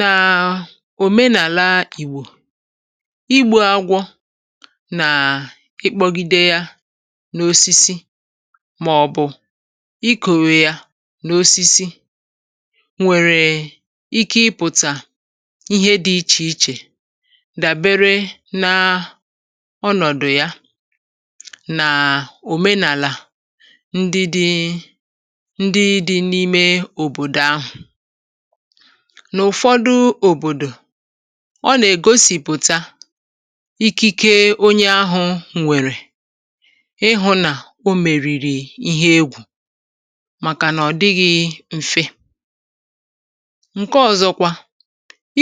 Nà òmenàlà ìgbò igbu̇ agwọ̇ nàà ịkpọ̀gide yȧ n’osisi màọ̀bụ̀ ikòwè yȧ n’osisi nwèrè ike ịpụ̀tà ihe dị ichè ichè dàbere n’ ọnọ̀dụ̀ ya nà òmenàlà ndị dị ndị di n'ime obodo ahu na ụfọdụ obodo ọ nà-ègosìpụ̀ta ikike onye ahụ̇ ǹwèrè ịhụ̇ nà o mèrìrì ihe egwù màkànà ọ̀ dịghị̇ m̀fe ǹke ọ̇zọ̇kwa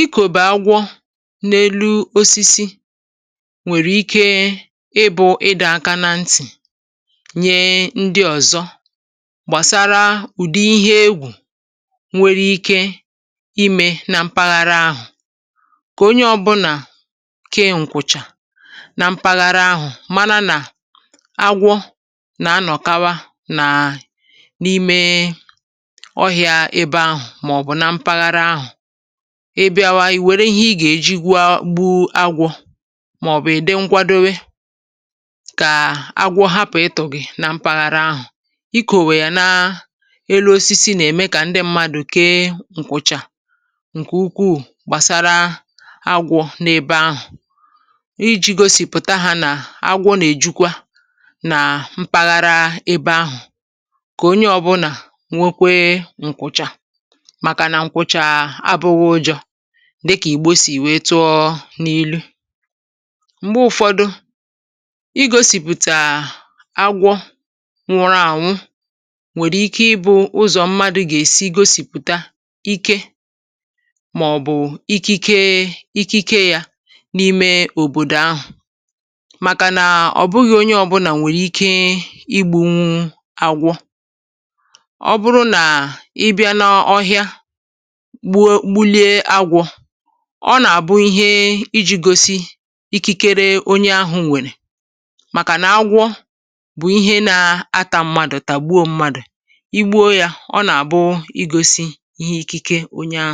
ikòbà-agwọ n’elu osisi nwèrè ike ịbụ̇ ịdọ̇ aka nà ntì nyee ndị ọ̀zọ gbàsara ụ̀dị ihe egwù nwere ike imė nà mpaghara ahụ̀ kà onye ọ̇bụ̇nà kee ǹkụ̀chà nà mpaghara ahụ̀ mana nà agwọ nà-anọ̀kawa nàà n’ime ọhị̇a ebe ahụ̀ màọbụ̀ na mpaghara ahụ̀ ebiawa ì wère ihe ị gà-èjigwe gbu agwọ̇ màọbụ̀ ìdi nkwadowe kàa agwọ hapụ̀ ị tụ̀ gị̀ nà mpaghara ahụ̀ ị kòwe yȧ nà elu osisi nà-ème kà ndị mmadụ̀ kee nkwụcha ǹkè ukwu̇ gbàsara agwọ̇ n’ebe ahụ̀ iji̇ gosìpụ̀taghȧ nà agwọ nà èjukwa nà mpaghara ebe ahụ̀ kà onye ọ̇bụ̇nà nwekwee ǹkwụcha màkà nà ǹkwụcha abụghị ụjọ̇ dịkà ìgbò sì wèe tụọ n’ilu, m̀gbè ụ̀fọdụ i gȯsìpụ̀tà agwọ nwụrụ ànwụ nwèrè ike ịbụ̇ ụzọ̀ mmadụ̇ gà-èsi gosipụta ike ̀bụ̀ ikike ikike yȧ n’ime òbòdò ahụ̀ màkànà ọ̀ bụghị̇ onye ọ̇bụ̇nà nwèrè ike igbu̇ṅụ̇ àgwọ, ọ bụrụ nà ị bịa n’ọhịa gbuo gbulie agwọ̇ ọ nà-àbụ ihe iji̇ gosi ikikere onye ahụ̇ nwèrè màkànà agwọ bụ̀ ihe na-ata mmadụ̀ tàgbuo mmadụ̀ i gbuo ya ona abụ igosi ihe ikike onye ahụ.